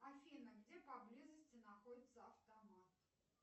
афина где поблизости находится автомат